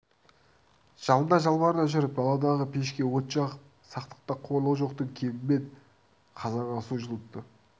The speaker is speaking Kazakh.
жалына-жалбарына жүріп даладағы пешке от жағып сақтықта қорлық жоқтың кебімен қазанға су жылытты